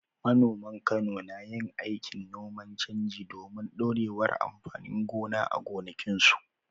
Manoman Kano na yin aikin noman canji domin ɗorewar amfanin gona a gonakinsu.